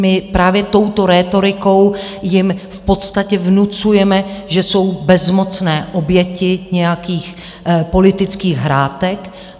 My právě touto rétorikou jim v podstatě vnucujeme, že jsou bezmocné oběti nějakých politických hrátek.